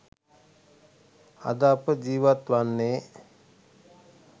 අද අප ජීවත් වන්නේ